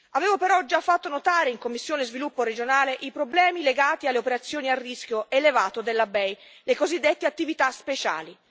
Avevo però già fatto notare in sede di commissione per lo sviluppo regionale i problemi legati alle operazioni a rischio elevato della BEI, le cosiddette attività speciali.